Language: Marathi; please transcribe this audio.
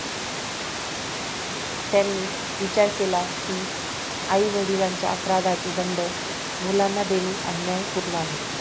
त्यांनी विचार केला कि आई वडिलांच्या अपराधाचे दंड मुलांना देणे अन्याय पूर्ण आहे